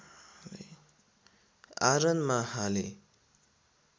आरनमा हालेँ